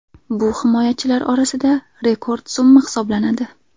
Bu himoyachilar orasida rekord summa hisoblanadi.